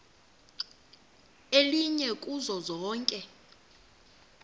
elinye kuzo zonke